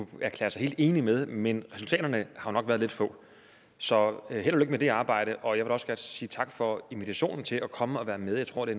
erklære sig helt enig med men resultaterne har jo nok været lidt få så held og med det arbejde og jeg også godt sige tak for invitationen til at komme og være med jeg tror det